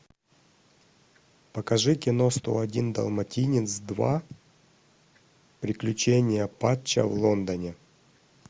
покажи кино сто один далматинец два приключения патча в лондоне